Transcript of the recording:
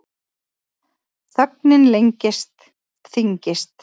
Þögnin lengist, þyngist.